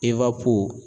Eba ko